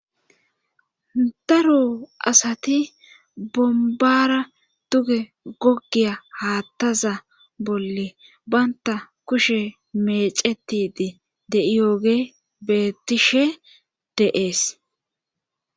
daro asati bombara duge gogiya haattaza bolle banta kushe meecetidi deiyooge betishe deees